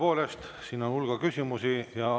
Tõepoolest, siin on hulga küsimusi.